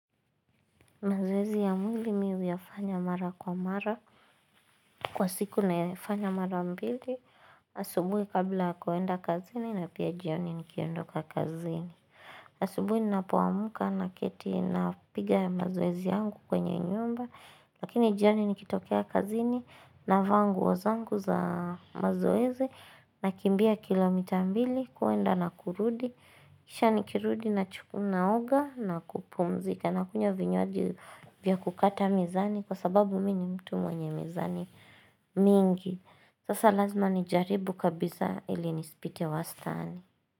Mazoezi ya mwili mimi huyafanya mara kwa mara, kwa siku na yafanya mara mbili, asubuhi kabla ya kwenda kazini na pia jioni nikiondoka kazini. Asubuhi ninapoamka na keti na piga ya mazoezi yangu kwenye nyumba, lakini jioni nikitokea kazini navaa zangu za mazoezi na kimbia kilomita mbili kwenda na kurudi. Kisha nikirudi na chukua naoga na kupumzika na kunya vinyoaji vya kukata mizani kwa sababu mimi mtu mwenye mizani mingi. Sasa lazima ni jaribu kabisa ili nisipite wastani.